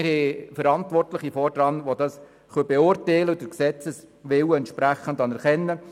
wir haben Verantwortliche, die es beurteilen können und den Willen des Gesetzes anerkennen.